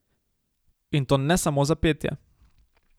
In to ne samo za petje.